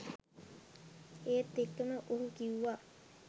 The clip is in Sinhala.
ඒත් එක්කම ඔහු කිව්වා